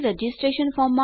તો આગળનાં ભાગમાં મળીશું